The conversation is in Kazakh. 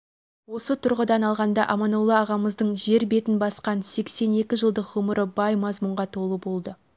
осы тұрғыдан алғанда аманолла ағамыздың жер бетін басқан сексен екі жылдық ғұмыры бай мазмұнға толы болды